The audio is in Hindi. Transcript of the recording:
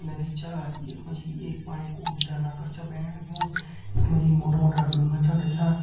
नदी छा यख मा जी एक पाणी कु झरना कर छा बैण लग्युं यख मा जी मोटा मोटा ढुंगा छन रख्यां।